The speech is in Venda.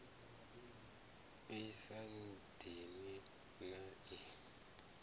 i sa dini na i